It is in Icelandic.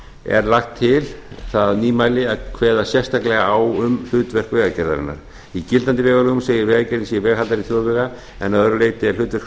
er lagt til það nýmæli að kveða sérstaklega á um hlutverk vegagerðarinnar í gildandi vegalögum segir að vegagerðin sé veghaldari þjóðvega að öðru leyti er hlutverk